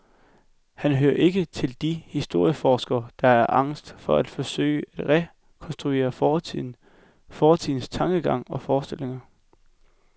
Han hører ikke til de historieforskere der er angst for at forsøge at rekonstruere fortiden, fortidens tankegang og forestillinger.